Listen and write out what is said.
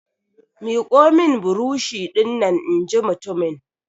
Miƙo min burosh dinnan! in ji mutumin!